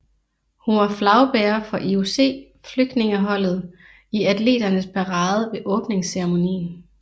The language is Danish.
Hun var flagbærer for IOC Flygtningeholdet i atleternes parade ved åbningsceremonien